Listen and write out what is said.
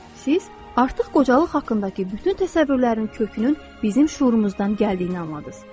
Siz artıq qocalıq haqqındakı bütün təsəvvürlərin kökünün bizim şuurumuzdan gəldiyini anladınız.